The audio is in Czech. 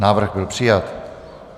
Návrh byl přijat.